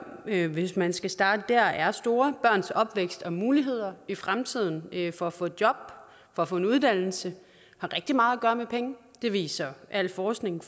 hvis man skal starte der er store børns opvækst og muligheder i fremtiden for at få et job og få en uddannelse har rigtig meget at gøre med penge det viser al forskning